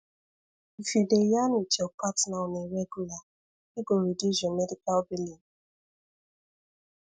if you dey yarn with your partner on a regular e go reduce your medical billing